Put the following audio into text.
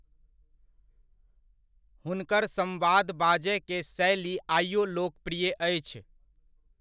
हुनकर संवाद बाजय के शैली आइयो लोकप्रिय अछि।